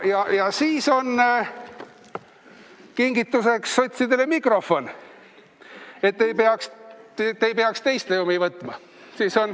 Ja veel on kingituseks sotsidele mikrofon, et te ei peaks teiste omi võtma.